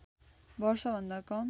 वर्ष भन्दा कम